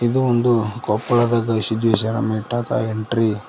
ಇದು ಒಂದು ಕೊಪ್ಪಳದ ಗವಿಸಿದ್ದೇಶ್ವರ ಮಠದ ಎಂಟ್ರಿ .